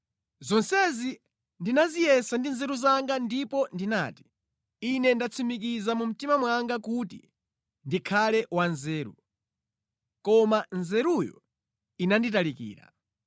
Zonsezi ndinaziyesa ndi nzeru zanga ndipo ndinati, “Ine ndatsimikiza mu mtima mwanga kuti ndikhale wanzeru,” koma nzeruyo inanditalikira.